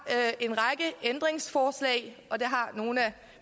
en række ændringsforslag og det har nogle af